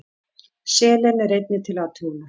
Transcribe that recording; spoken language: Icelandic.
Selen er einnig til athugunar.